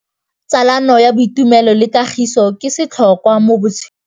Tsalano ya boitumelo le kagiso ke setlhôkwa mo botshelong.